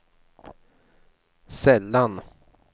sällan